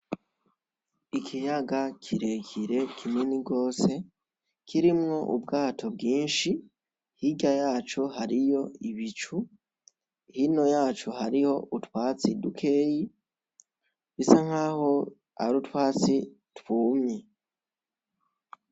Ikiyaga kirekire kinini gose kirimwo ubwato bwinshi, hirya yaco hariho ibicu, hino yaco hariho utwatsi dukeya bisa nkaho ari utwatsi twumye.